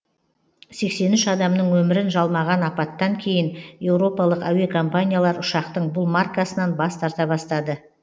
сексен үш адамның өмірін жалмаған апаттан кейін еуропалық әуе компаниялар ұшақтың бұл маркасынан бас тарта бастады